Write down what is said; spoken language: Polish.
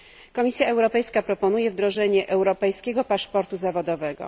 Komisja Europejska proponuje wdrożenie europejskiego paszportu zawodowego.